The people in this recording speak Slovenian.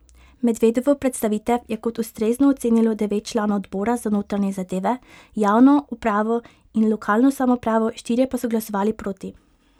Medvedovo predstavitev je kot ustrezno ocenilo devet članov odbora za notranje zadeve, javno upravo in lokalno samoupravo, štirje pa so glasovali proti.